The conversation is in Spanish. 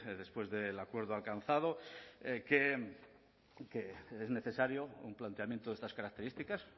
después del acuerdo alcanzado que es necesario un planteamiento de estas características